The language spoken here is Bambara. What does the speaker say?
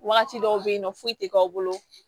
Wagati dɔw be yen nɔ foyi tɛ k'aw bolo